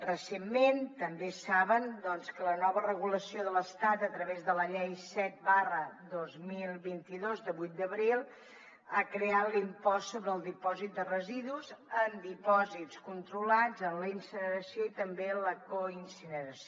recentment també saben que la nova regulació de l’estat a través de la llei set dos mil vint dos de vuit d’abril ha creat l’impost sobre el dipòsit de residus en dipòsits controlats en la incineració i també en la coincineració